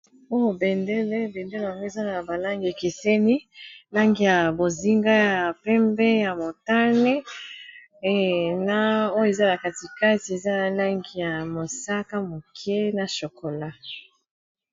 oyo bendele ,bendele yango ezali na ba langi ekeseni , langi ya bozinga ,ya pembe ya motane na oyo eza katikati eza langi ya mosaka , moke na chokola.